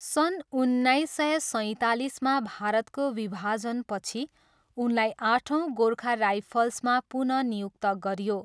सन् उन्नाइस सय सैँतालिसमा भारतको विभाजनपछि उनलाई आठौँ गोर्खा राइफल्समा पुनः नियुक्त गरियो।